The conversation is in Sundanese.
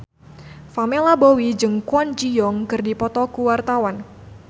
Pamela Bowie jeung Kwon Ji Yong keur dipoto ku wartawan